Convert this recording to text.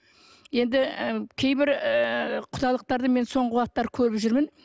енді ы кейбір ыыы құдалықтарды мен соңғы уақыттары көріп жүрмін